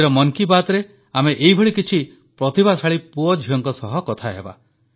ଆଜିର ମନ୍ କି ବାତ୍ରେ ଆମେ ଏଇଭଳି କିଛି ପ୍ରତିଭାଶାଳୀ ପୁଅ ଝିଅଙ୍କ ସହ କଥାହେବା